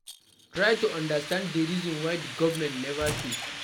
Try to understand di reason why di governement nova pay